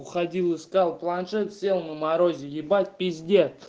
уходил искал планшет сел на морозе ебать пиздец